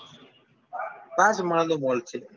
પાંચ માળનો mall છે